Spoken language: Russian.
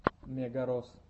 мегарос